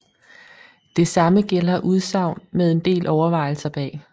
Det samme gælder udsagn med en del overvejelser bag